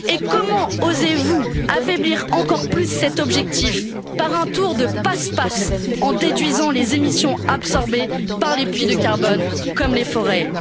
Comment osez vous affaiblir encore plus cet objectif par un tour de passe passe, en déduisant les émissions absorbées par les puits de carbone, comme les forêts?